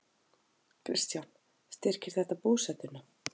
Kristján: Styrkir þetta búsetuna?